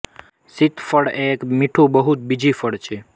સીતફળ એ એક મીઠું બહુ બીજી ફળ છે